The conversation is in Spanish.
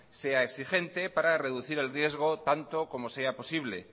sea exigente para reducir el riesgo tanto como sea posible